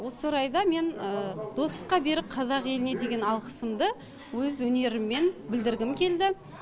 осы орайда мен достыққа берік қазақ еліне деген алғысымды өз өнеріммен білдіргім келді